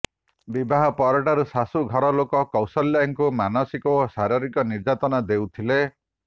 ବିବାହ ପରଠାରୁ ଶାଶୁ ଘର ଲୋକେ କୌଶଲ୍ୟାଙ୍କୁ ମାନସିକ ଓ ଶାରିରୀକ ନିର୍ଯାତନା ଦେଉଥିଲେ